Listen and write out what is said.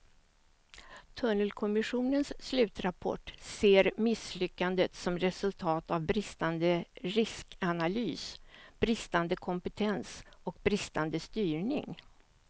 Tunnelkommissionens slutrapport ser misslyckandet som resultat av bristande riskanalys, bristande kompetens och bristande styrning.